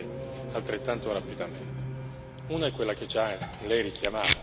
Ci sono due cose però che devono essere fatte altrettanto rapidamente.